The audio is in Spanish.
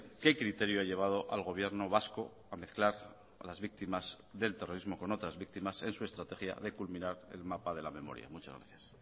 qué criterio ha llevado al gobierno vasco a mezclar a las víctimas del terrorismo con otras víctimas en su estrategia de culminar el mapa de la memoria muchas gracias